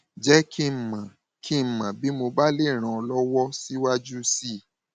jẹ kí n mọ kí n mọ bí mo bá lè ràn ọ lọwọ síwájú sí i